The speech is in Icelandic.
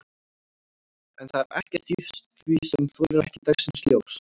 En það er ekkert í því sem þolir ekki dagsins ljós?